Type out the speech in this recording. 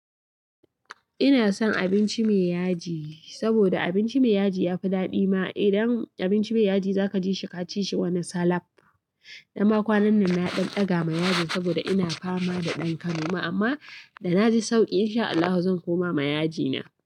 Ina son abinci mai yaji, saboda abinci mai yaji ya fi daɗi ma. Idan abinci mai yaji za ka ji shi ka ci shi wannan salaf. Dan ma kwanan nan na ɗan ɗaga ma yajin saboda ina fama da ɗan kanoma, amma da na ji sauki in sha Allahu zan koma ma yajina.